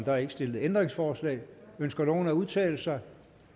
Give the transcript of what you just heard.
er ikke stillet ændringsforslag ønsker nogen at udtale sig